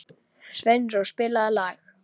Sveinrós, spilaðu lag.